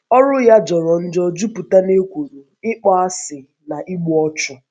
Ọrụ ya jọrọ njọ, jupụta n’ekworo, ịkpọasị, na igbu ọchụ.